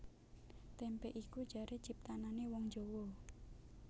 Témpé iku jaré ciptanané wong Jawa